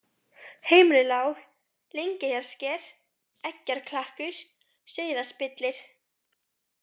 Heimrilág, Lyngeyjarsker, Eggjarklakkur, Sauðaspillir